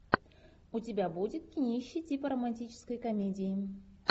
у тебя будет кинище типа романтической комедии